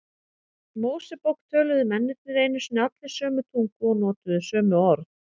Mósebók töluðu mennirnir einu sinni allir sömu tungu og notuðu sömu orð.